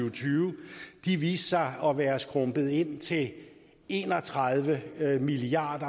og tyve viste sig at være skrumpet ind til en og tredive milliard